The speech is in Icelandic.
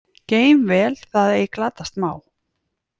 Geym vel það ei glatast má.